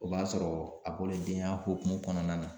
O b'a sɔrɔ a bɔlen denya hokumu kɔnɔna na.